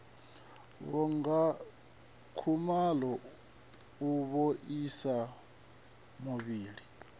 vhanga khuvhalo u vhaisa muvhili